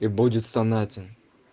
и будет стонать он